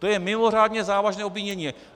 To je mimořádně závažné obvinění!